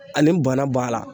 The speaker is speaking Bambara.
Ani bana b'a la